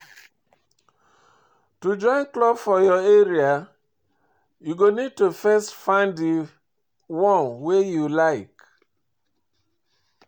To join club for your area, you go need to first find di one wey you like